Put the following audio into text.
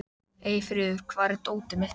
Eyfríður, hvar er dótið mitt?